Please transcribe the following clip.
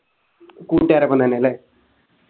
കൂട്ടുകാരൊപ്പം തന്നെല്ലേ